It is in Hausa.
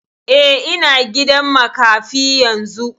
Eh, ina gidan makafi yanzu